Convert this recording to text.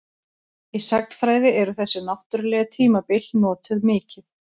Í sagnfræði eru þessi náttúrlegu tímabil notuð mikið.